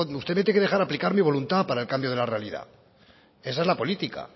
usted me tiene que dejar aplicar mi voluntad para el cambio de la realidad esa es la política